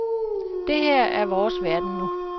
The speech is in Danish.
Det her er vores verden nu.